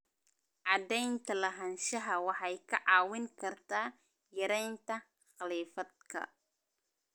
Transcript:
Cadaynta lahaanshaha waxay kaa caawin kartaa yaraynta khilaafaadka.